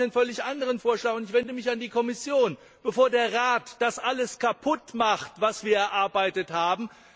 Deswegen habe ich einen völlig anderen Vorschlag, und ich wende mich an die Kommission, bevor der Rat das alles kaputt macht, was wir erarbeitet haben.